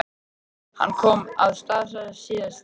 Hann kom að Staðarstað síðla dags.